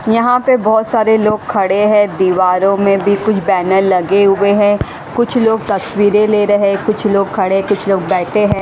यहां पे बहुत सारे लोग खड़े हैं। दीवारों में भी कुछ बैनर लगे हुए हैं। कुछ लोग तस्वीर ले रहे कुछ लोग खड़े कुछ लोग बैठे हैं।